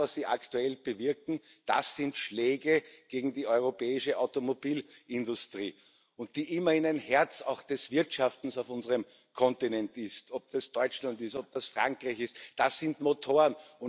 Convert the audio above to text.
Das, was Sie aktuell bewirken, sind Schläge gegen die europäische Automobilindustrie, die immerhin auch ein Herz des Wirtschaftens auf unserem Kontinent ist ob das Deutschland ist, ob das Frankreich ist Das sind Motoren.